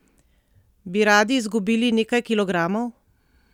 Bi radi izgubili nekaj kilogramov?